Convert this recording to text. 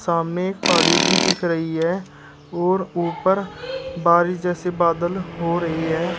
सामने एक पहाड़ी भी दिख रही है और ऊपर बारिश जैसी बादल हो रही है।